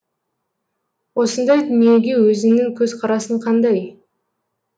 осындай дүниеге өзіңнің көзқарасың қандай